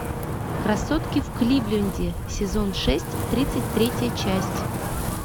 красотки в кливленде сезон шесть тридцать третья часть